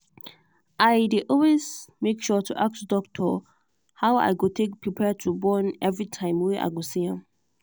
i day always make sure to ask doctor how i go take prepare to born everytime way i go see am.